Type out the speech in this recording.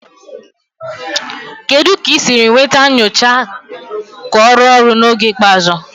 Kedu ka ị siri nweta nyocha ka ọ rụọ ọrụ n'oge ikpeazụ?